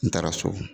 N taara so